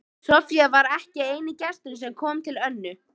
Soffía var ekki eini gesturinn sem kom til Önnu.